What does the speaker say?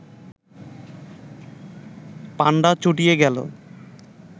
পাণ্ডা চটিয়া গেল